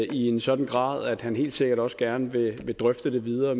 i en sådan grad at han helt sikkert også gerne vil drøfte det videre